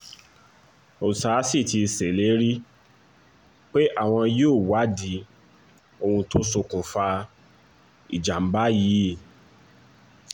ọ̀ṣà sì ti ṣèlérí pé àwọn yóò wádìí ohun tó ṣokùnfà ìjàm̀bá yìí